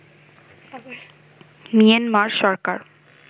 Myanmar Sarkar